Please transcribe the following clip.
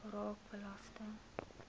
raak belasting